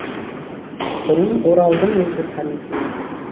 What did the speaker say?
бұрын оралдың өзі танитын еді